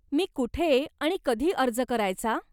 मी कुठे आणि कधी अर्ज करायचा?